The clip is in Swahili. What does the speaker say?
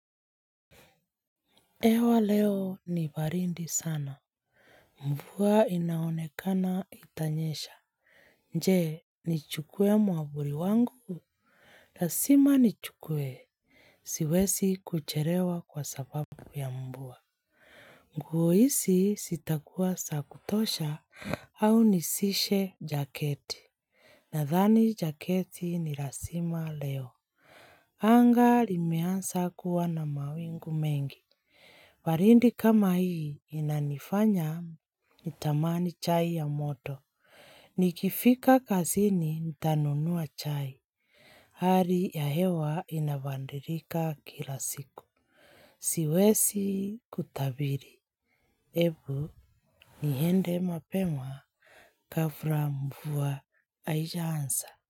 Ewa leo ni barindi sana. Mvua inaonekana itanyesha. Je, nichuke mwavuli wangu? Lazima nichukue. Siwesi kucherewa kwa sababu ya mbua. Nguo hizi zitakua za kutosha au nisishe jaketi. Nadhani jaketi ni razima leo. Anga limeansa kuwa na mawingu mengi. Barindi kama hii inanifanya nitamani chai ya moto. Nikifika kazini nitanonua chai. Hari ya hewa inabadilika kila siku. Siwesi kutabiri. Ebu niende mapema kabla mvua haija anza.